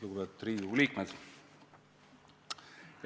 Lugupeetud Riigikogu liikmed!